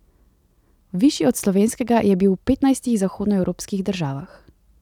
Višji od slovenskega je bil v petnajstih zahodnoevropskih državah.